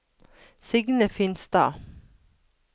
Signe Finstad